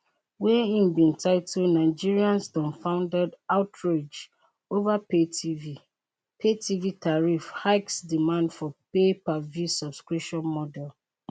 wey im bin title nigerians dumbfounded outrage over paytv paytv tariff hikes demand for payperview subscription model